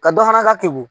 Ka dɔ fana ka keni